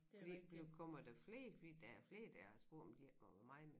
Fordi blev kommer der flere fordi der er flere der har spurgt om de ikke må være mig med